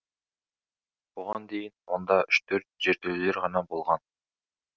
бұған дейін онда үш төрт жертөлелер ғана болған